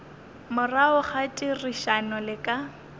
morago ga therišano le ka